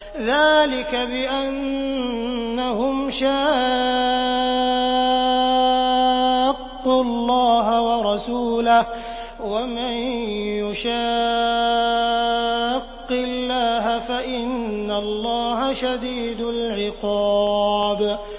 ذَٰلِكَ بِأَنَّهُمْ شَاقُّوا اللَّهَ وَرَسُولَهُ ۖ وَمَن يُشَاقِّ اللَّهَ فَإِنَّ اللَّهَ شَدِيدُ الْعِقَابِ